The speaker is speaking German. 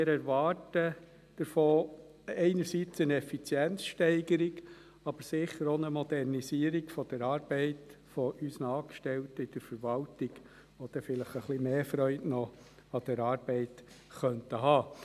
Wir erwarten uns davon einerseits eine Effizienzsteigerung, aber sicher auch eine Modernisierung der Arbeit unserer Angestellten in der Verwaltung, die dann vielleicht noch etwas mehr Freude an der Arbeit haben könnten.